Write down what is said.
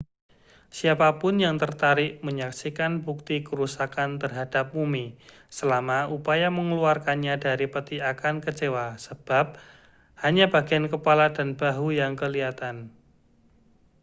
siapa pun yang tertarik menyaksikan bukti kerusakan terhadap mumi selama upaya mengeluarkannya dari peti akan kecewa sebab hanya bagian kepala dan bahu yang kelihatan